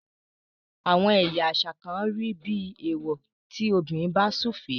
àwọn ẹyà àṣà kán rí bí ewọ tí obìrin bá sufe.